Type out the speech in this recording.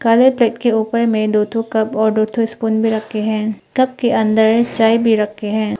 काले प्लेट के ऊपर में दो ठो कप और दो ठो स्पून भी रखे हैं। कप के अंदर चाय भी रखे हैं।